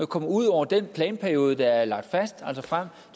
kommer ud over den planperiode der er lagt fast altså frem